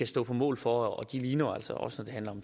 stå på mål for og de ligner jo altså også når det handler